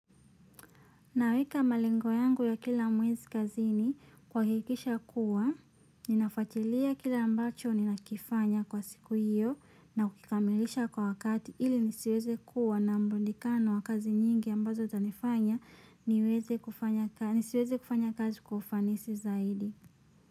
Naweka malengo yangu ya kila mwezi kazini kuhakikisha kuwa, ninafuatilia kile ambacho ninakifanya kwa siku hiyo na kukamilisha kwa wakati ili nisiweze kuwa na mrundikano wa kazi nyingi ambazo zanifanya, nisiweze kufanya kazi kufanisi zaidi.